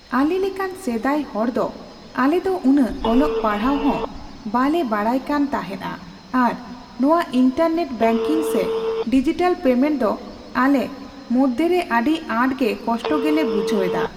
ᱟᱞᱮ ᱞᱮᱠᱟᱱ ᱥᱮᱫᱟᱭ ᱦᱚᱲᱫᱚ ᱟᱞᱮᱫᱚ ᱩᱱᱟᱹᱜ ᱚᱞᱚᱜ ᱯᱟᱲᱦᱟᱜ ᱦᱚᱸ ᱵᱟᱞᱮ ᱵᱟᱲᱟᱭ ᱠᱟᱱ ᱛᱟᱦᱮᱫᱼᱟ ᱟᱨ ᱱᱚᱣᱟ ᱤᱱᱴᱟᱨᱱᱮᱴ ᱵᱮᱝᱠᱤᱝᱠᱚ ᱥᱮ ᱰᱤᱡᱤᱴᱮᱞ ᱯᱮᱢᱮᱱᱴ ᱫᱚ ᱟᱞᱮ ᱢᱚᱫᱽᱫᱷᱮᱨᱮ ᱟᱹᱰᱤ ᱟᱴᱜᱮ ᱠᱚᱥᱴᱚ ᱜᱮᱞᱮ ᱵᱩᱡᱷᱟᱹᱣᱮᱫᱟ ᱾